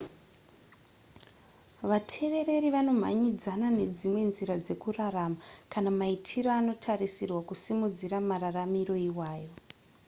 vatevereri vanomhanyidzana nedzimwe nzira dzekurarama kana maitiro anotarisirwa kusimudzira mararamiro iwayo